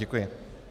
Děkuji.